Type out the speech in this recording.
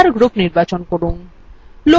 enter group নির্বাচন করুন